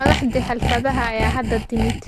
Madaxdii xafladaha ayaa hadda timid.